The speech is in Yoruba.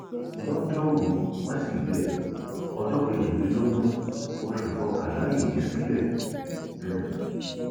lọjọrùú wíṣídẹẹ ọjọ kejìlélógún oṣù kọkànlá yìí sílẹ um